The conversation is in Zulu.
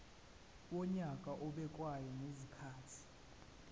wonyaka obekwayo ngezikhathi